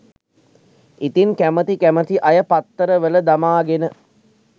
ඉතින් කැමති කැමති අය පත්තරවලදමාගෙන